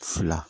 Fila